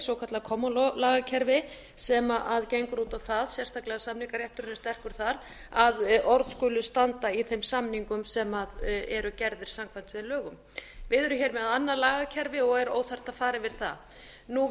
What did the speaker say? svokallað kommólagakerfi sem gengur út á það sérstaklega er samningarétturinn sterkur þar að orð skulu standa í þeim samningum sem eru gerðir samkvæmt þeim lögum við erum með annað lagakerfi og er óþarft að fara yfir það